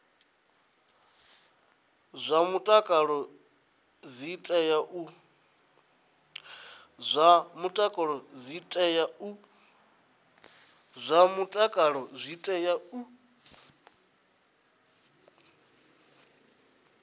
zwa mutakalo dzi tea u